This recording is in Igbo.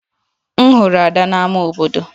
M hụrụ Ada na ámá obodo